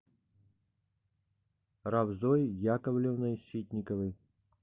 равзой яковлевной ситниковой